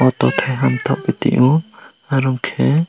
auto keiha bathakgui tongo aro khe.